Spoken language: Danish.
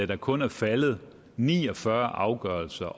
der kun er faldet ni og fyrre afgørelser